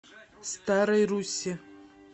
старой руссе